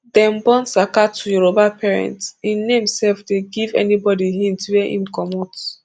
dem born saka to yoruba parents im name sef dey give anybody hint wia im comot